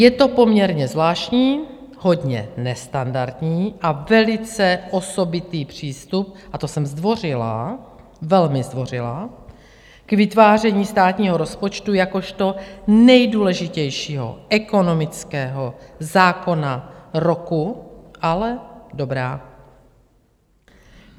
Je to poměrně zvláštní, hodně nestandardní a velice osobitý přístup, a to jsem zdvořilá, velmi zdvořilá, k vytváření státního rozpočtu jakožto nejdůležitějšího ekonomického zákona roku, ale dobrá.